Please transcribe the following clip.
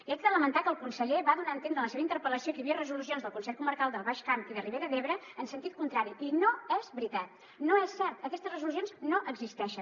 i haig de lamentar que el conseller va donar a entendre en la seva interpel·lació que hi havia resolucions dels consells comarcals del baix camp i de ribera d’ebre en sentit contrari i no és veritat no és cert aquestes resolucions no existeixen